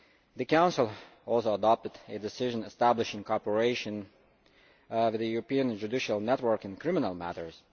The Council also adopted a decision establishing cooperation with the European Judicial Network in criminal matters.